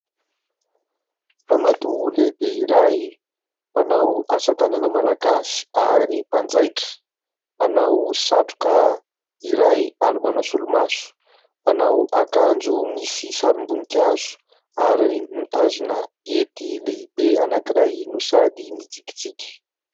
Ramatoa lehibe iray mpanao asatanana malagasy ary mpanjaitra, manao satroka iray ary manao solomaso, manao akanjo misy sarim-boninkazo ary mitazona hety lehibe anankiray no sady mitsikitsiky.